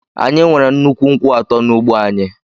Anyị nwere nnukwu nkwụ atọ n’ugbo anyị.